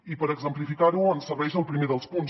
i per exemplificar ho ens serveix el primer dels punts